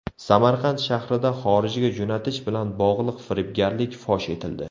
Samarqand shahrida xorijga jo‘natish bilan bog‘liq firibgarlik fosh etildi.